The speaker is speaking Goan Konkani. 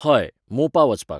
हय, मोपा वचपाक